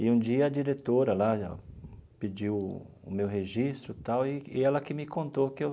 E um dia, a diretora lá pediu o meu registro e tal, e e ela que me contou que eu